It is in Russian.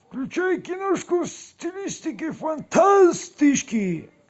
включай киношку в стилистике фантастики